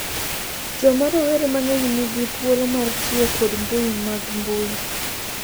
Joma rowere mang�eny nigi thuolo mar tiyo kod mbui mag mbui